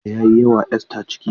Kadanga ya yi wa Esther ciki.